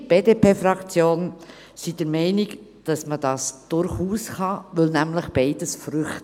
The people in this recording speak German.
Wir von der BDP-Fraktion sind jedoch der Meinung, dass man dies durchaus tun kann, weil nämlich beides Früchte sind.